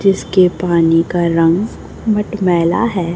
जिसके पानी का रंग मटमैला है।